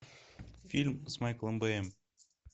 фильм с майклом бэем